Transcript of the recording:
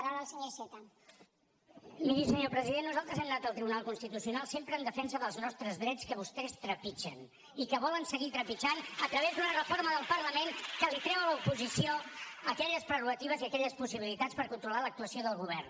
miri senyor president nosaltres hem anat al tribunal constitucional sempre en defensa dels nostres drets que vostès trepitgen i que volen seguir trepitjant a través d’una reforma al parlament que li treu a l’oposició aquelles prerrogatives i aquelles possibilitats per controlar l’actuació del govern